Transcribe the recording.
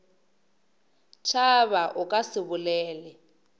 tšhaba o ka se bolele